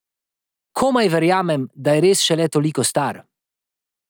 Komaj verjamem, da je res šele toliko star.